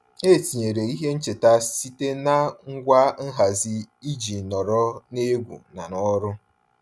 E tinyere ihe ncheta site na ngwa nhazi iji nọrọ n'egwu na n'ọrụ.